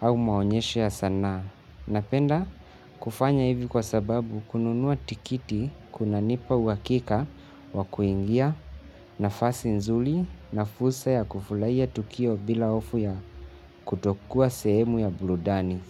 au maonyesho ya sanaa. Napenda kufanya hivi kwa sababu kununua tikiti kunanipa uhakika wa kuingia nafasi nzuri na fursa ya kufurahia tukio bila hofu ya kutokuwa sehemu ya burudani.